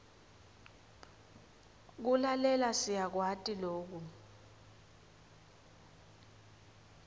kulalela siyakwati loku